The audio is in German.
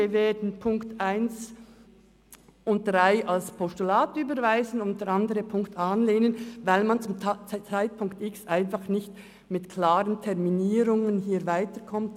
Wir werden die Ziffern 1 und 3 als Postulate überweisen und Ziffer 2 annehmen, weil man zum Zeitpunkt X einfach nicht mit klaren Terminierungen weiterkommt.